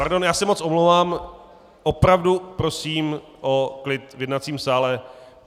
Pardon, já se moc omlouvám, opravdu prosím o klid v jednacím sále.